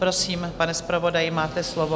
Prosím, pane zpravodaji, máte slovo.